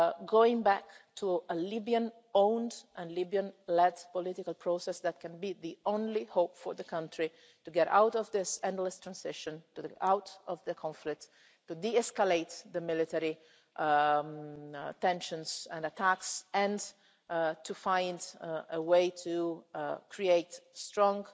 moment going back to a Libyan owned and a Libyan led political process that can be the only hope for the country to get out of this endless transition, out of the conflict, to de escalate the military tensions and attacks, and to find a way to create